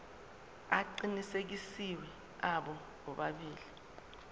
aqinisekisiwe abo bobabili